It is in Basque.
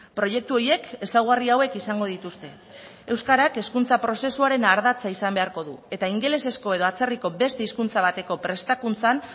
proiektu horiek ezaugarri hauek izango dituzte euskarak hezkuntza prozesuaren ardatza izan beharko du eta ingelesezko edo atzerriko beste hizkuntza bateko prestakuntzan